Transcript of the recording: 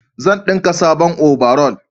zan dinka sabon obaral